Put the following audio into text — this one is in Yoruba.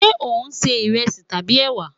Ṣe o n ṣe iresi tabi ewa?